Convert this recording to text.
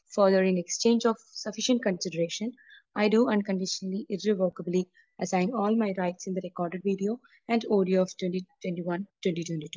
further, in exchange of sufficient consideration, I do unconditionally, irrevocably assign all my rights in the record video and audio of 2021-2022